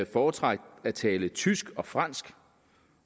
foretrak at tale tysk og fransk